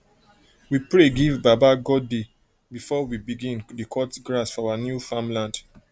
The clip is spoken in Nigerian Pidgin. we pray give baba godey before we bign dey cut grass for our new farmland